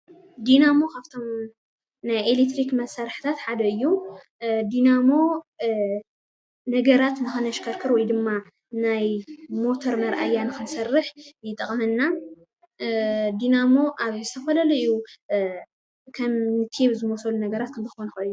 ዲናሞ ካብቶም ናይ ኤሌክትሪክ መሳርሕታት ሓደ እዩ። ዲናሞ ነገራት ንክነሽክርክር ወይድማ ናይ ሞተር መርኣያ ንክንሰርሕ ይጠቅመና። ዲናሞ ኣብ ዝተፈላለዩ ከም ቴብ ዝበሉ ነገራት ክንረክቦም ንክእል ኢና።